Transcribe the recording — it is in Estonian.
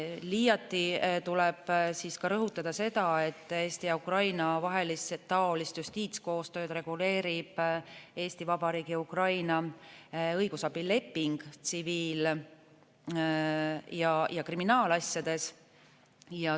Liiati tuleb rõhutada seda, et Eesti ja Ukraina vahelist taolist justiitskoostööd reguleerib Eesti Vabariigi ja Ukraina õigusabileping tsiviil- ja kriminaalasjades.